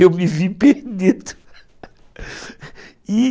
Eu me vi perdido, e